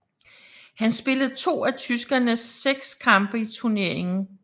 Han spillede to af tyskernes seks kampe i turneringen